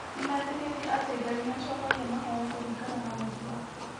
Nĩmetĩkĩtie atĩ Ngai nĩ acokagia mahoya kũringana na wendi wake.